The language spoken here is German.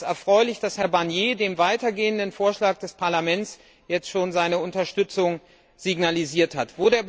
Es ist erfreulich, dass Herr Barnier dem weitergehenden Vorschlag des Parlaments jetzt schon seine Unterstützung signalisiert hat.